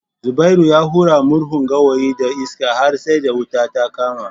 Zubairu ya hura murhun gawayin da iska har sai da wuta ta kama